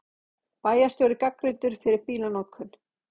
Bæjarstjóri gagnrýndur fyrir bílanotkun